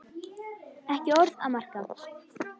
Ekki orð að marka.